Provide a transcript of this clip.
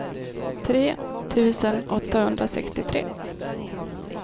tre tusen åttahundrasextiotre